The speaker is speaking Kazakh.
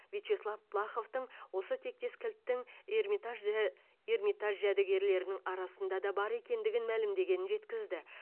вячеслов плаховтың осы тектес кілттің эрмитажі эрмитаж жәдігерлерінің арасында да бар екендігін мәлімдегенін жеткізді